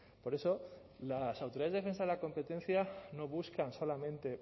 por eso las autoridades de defensa de la competencia no buscan solamente